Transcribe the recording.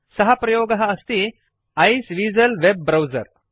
सः प्रयोगः अस्ति आइसवीजल वेब ब्राउजर